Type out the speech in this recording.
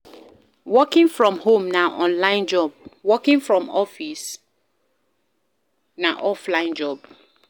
Working from home na online job office work na offline job